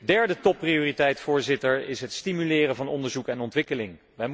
Derde topprioriteit, Voorzitter, is het stimuleren van onderzoek en ontwikkeling.